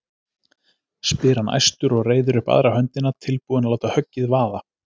spyr hann æstur og reiðir upp aðra höndina, tilbúinn að láta höggið vaða.